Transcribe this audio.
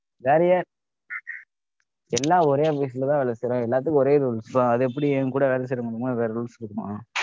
வேறயா~ எல்லாம் ஒரே office ல தான் வேலை செய்றோம் எல்லாத்துக்கும் ஒரே rules தான். அது எப்படி எங்க கூட வேலை செய்றவங்களுக்கு வேற rules இருக்குமா?